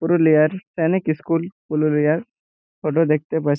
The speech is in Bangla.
পুরো লেয়ার প্যানিক ইস্কুল পুলো লেয়ার ফটো দেখতে পাচ--